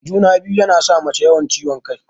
Juna-biyu yana sa mace yawan ciwon kai.